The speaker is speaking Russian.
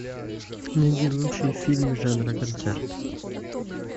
найди лучший фильм жанра концерт